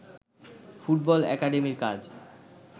football একাডেমীর কাজ